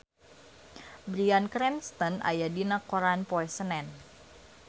Bryan Cranston aya dina koran poe Senen